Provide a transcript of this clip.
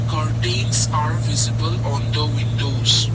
curtains are visible on the windows.